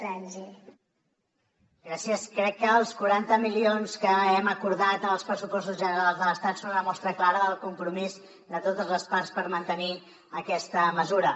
crec que els quaranta milions que hem acordat en els pressupostos generals de l’estat són una mostra clara del compromís de totes les parts per mantenir aquesta mesura